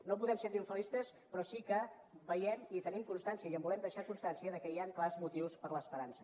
no podem ser triomfalistes però sí que veiem i en tenim constància i en volem deixar constància que hi han clars motius per a l’esperança